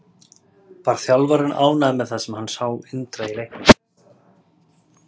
Var þjálfarinn ánægður með það sem hann sá Indriða í leiknum?